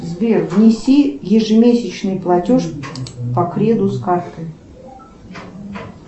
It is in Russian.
сбер внеси ежемесячный платеж по креду с карты